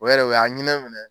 O yɛrɛ o y'an hinɛ minɛ.